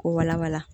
K'o walawala